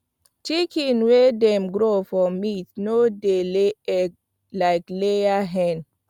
chicken wey dem grow for meat no dey lay egg like layer hen